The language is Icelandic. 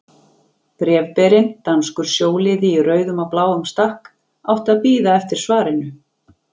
Bréfberinn, danskur sjóliði í rauðum og bláum stakk, átti að bíða eftir svarinu.